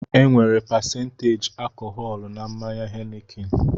Enwere pasenteji alkọhọlu na mmanya Henikin